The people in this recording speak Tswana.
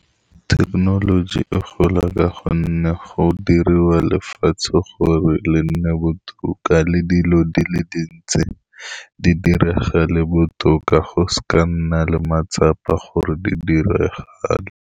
Thekenoloji e gola ka gonne go diriwa lefatshe gore le nne botoka, le dilo di le dintsi di diragale botoka, go seka ga nna le matsapa gore di diragale.